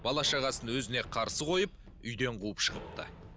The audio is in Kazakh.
бала шағасын өзіне қарсы қойып үйден қуып шығыпты